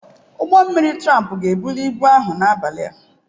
Ụgbọ mmiri tramp ga-ebuli ibu ahụ n'abalị a.